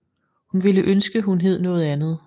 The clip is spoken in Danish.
Hun ville ønske hun hed noget andet